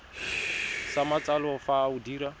sa matsalo fa o dira